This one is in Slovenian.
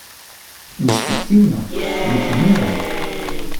Instinktivno, rutinirano.